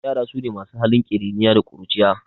Ƴara sune masu halin kiriniya da ƙuruciya